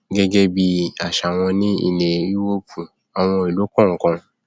gẹgẹ bí àṣà wọn ní ilẹ yúróòpù àwọn ìlú kọọkan